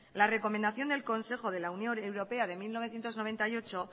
la recomendación del consejo de la unión europea de mil novecientos noventa y ocho